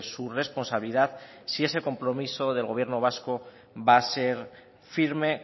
su responsabilidad si ese compromiso del gobierno vasco va a ser firme